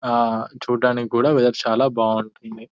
ఆ చూడ్డానికి కూడా ఏరు చాలా బాగుంటుంది --